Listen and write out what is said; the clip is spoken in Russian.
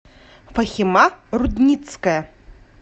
фахима рудницкая